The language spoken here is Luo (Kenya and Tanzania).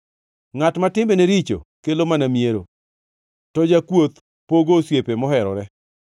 Ngʼat ma timbene richo kelo mana miero, to jakwoth pogo osiepe moherore.